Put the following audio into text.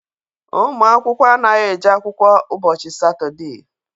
Ụmụ akwụkwọ anaghị eje akwụkwọ ụbọchị Satọde.